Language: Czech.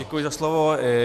Děkuji za slovo.